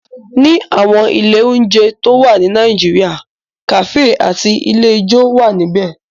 Ní àwọn ilé oúnjẹ tó wà ní Nàìjíríà, kàfé àti ilé ijó wà níbẹ̀